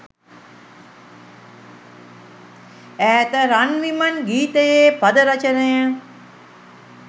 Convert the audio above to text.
ඈත රන් විමන් ගීතයේ පද රචනය